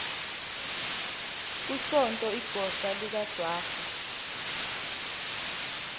kusonto igosa likajwara